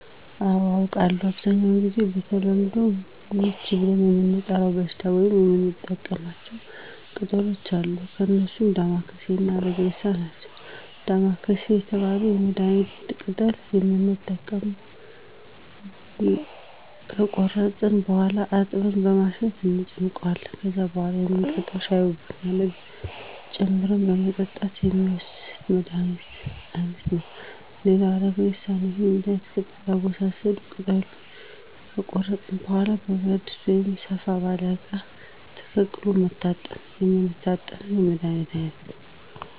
አዎ አውቃለሁ በአብዛኛው ጊዜ በተለምዶ ምች ብለን ለምንጠራው የበሽታ አይነት የምንጠቀማቸው ቅጠሎች አሉ እነርሱም ዳማከሴ እና አረግሬሳ ናቸው ዳማከሴ የተባለውን የመድሀኒት ቅጠል የምንጠቀመው ከቆረጥን በኋላ አጥበን በማሸት እንጨምቀዋለን ከዛም በኋላ የምንጠጣው ሻይ ወይም ቡና ላይ ጨምረን በመጠጣት የሚወሰድ የመድሀኒት አይነት ነው ሌላው አረግሬሳ ነው ይህም የመድሀኒት ቅጠል አወሳሰድ ቅጠሉን ከቆረጥን በኋላ በብረት ድስት ወይም ሰፋ ባለ እቃ ተቀቅሎ በመታጠን የምንጠቀመው የመድሀኒት አይነት ነው